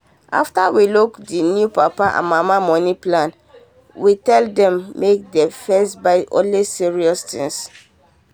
after we look the new papa and mama money plan we tell them make dem first buy only serious things.